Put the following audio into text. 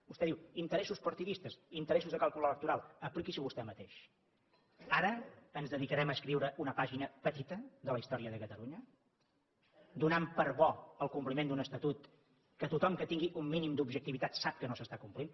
vostè diu interessos partidistes interessos de càlcul electoral apliqui s’ho vostè mateix ara ens dedicarem a escriure una pàgina petita de la història de catalunya donant per bo el compliment d’un estatut que tothom que tingui un mínim d’objectivitat sap que no s’està complint